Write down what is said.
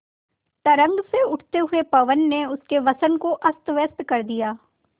तरंग से उठते हुए पवन ने उनके वसन को अस्तव्यस्त कर दिया